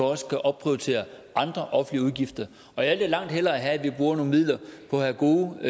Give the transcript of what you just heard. også kan opprioritere andre offentlige udgifter og jeg vil langt hellere have at vi bruger nogle midler på at have gode